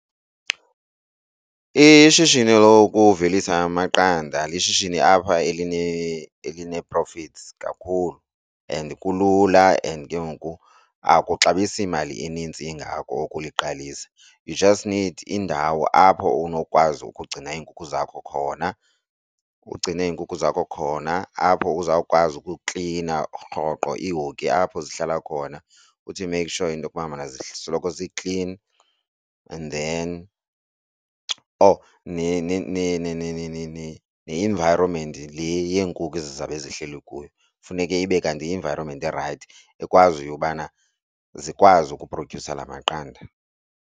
Ishishini lokuvelisa amaqanda lishishini apha eline elinee-profits kakhulu and kulula and ke ngoku akabuxabisi mali inintsi ingako ukuliqalisa. You just need indawo indawo apho unokwazi ukugcina iinkukhu zakho khona, ugcine iinkukhu zakho khona apho uzawukwazi ukuklina rhoqo iihoki apho zihlala khona uthi make sure into kubana zisoloko ziklini and then, oh ne-environment le yenkukhu ezizabe zihleli kuyo funeke ibe kanti yi-environment erayithi ekwaziyo ubana zikwazi ukuphrodyusa la maqanda.